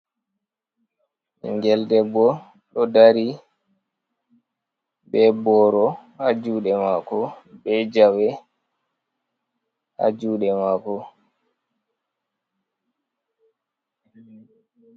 Bingel debbo ɗo dari, be boro haa juuɗe maako, be jawe haa juɗe maako.